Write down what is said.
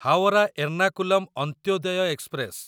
Howrah Ernakulam Antyodaya express